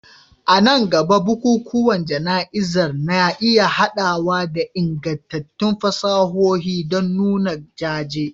A nan gaba, bukukuwan jana'izar na iya haɗawa da ingantattun fasahohi don nuna jaje